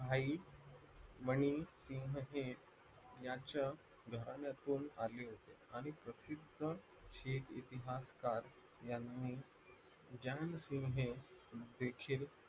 भाई मनी शिंकेत यांच्या घराण्यातून वारली होती आणि प्रसिद्ध शेख ऐतिहासिकर यांनी देखील